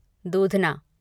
दूधना